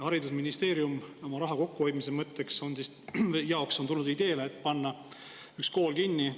Haridusministeerium on oma raha kokkuhoidmise huvides tulnud ideele üks kool kinni panna.